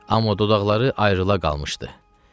Amma dodaqları ayrıla qalmışdı.